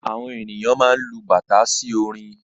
Àwọn ènìyàn má n lu bàtà sí orin